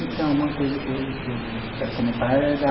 Então, uma coisa que eu que eu quero comentar é da...